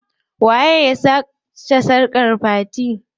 Waye ya sace sarkar fatima?